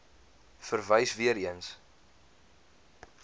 verwys weer eens